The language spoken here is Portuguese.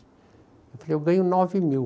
Eu falei, eu ganho nove mil.